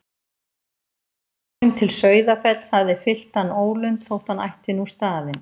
Að sjá heim til Sauðafells hafði fyllt hann ólund þótt hann ætti nú staðinn.